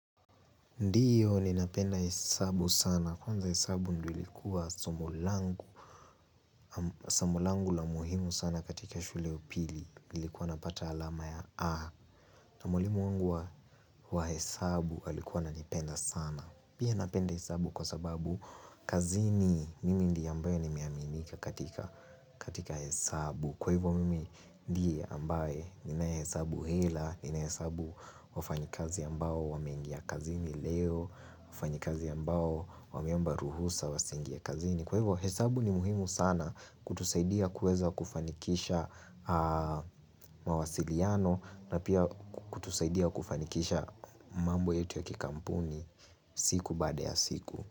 Ndiyo ni napenda hesabu sana. Kwanza hesabu ndio ilikuwa somo langu la umuhimu sana katika shule ya pili. Nilikuwa napata alama ya A. Na mwalimu wangu wa hesabu alikuwa ananipenda sana. Pia napenda hesabu kwa sababu kazini mimi ndiye ambayo nimeaminika katika hesabu. Kwa hivyo mimi ndiye ambaye ninaye hesabu hela, ninaye hesabu wafanyikazi ambao wamengia kazini leo, wafanyikazi ambao wameomba ruhusa wasiingie kazini. Kwa hivyo hesabu ni muhimu sana kutusaidia kuweza kufanikisha mawasiliano na pia kutusaidia kufanikisha mambo yetu ya kikampuni siku baada ya siku.